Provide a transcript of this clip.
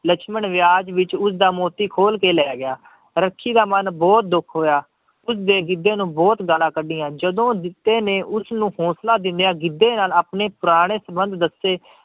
ਲਛਮਣ ਵਿਆਜ਼ ਵਿੱਚ ਉਸਦਾ ਮੋਤੀ ਖੋਲ ਕੇ ਲੈ ਗਿਆ ਰੱਖੀ ਦਾ ਮਨ ਬਹੁਤ ਦੁੱਖ ਹੋਇਆ ਉਸਦੇ ਗਿੱਧੇ ਨੂੰ ਬਹੁਤ ਗਾਲਾਂ ਕੱਢੀਆਂ, ਜਦੋਂ ਜਿੱਤੇ ਨੇ ਉਸਨੂੰ ਹੋਂਸਲਾ ਦਿੰਦਿਆ ਗਿੱਧੇ ਨਾਲ ਆਪਣੇ ਪੁਰਾਣੇ ਸੰਬੰਧ ਦੱਸੇ